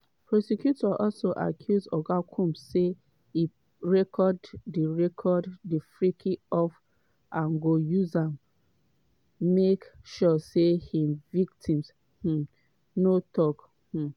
prosecutors also accuse oga combs say e record di record di "freak-offs" and go use am make sure say im victims um no tok. um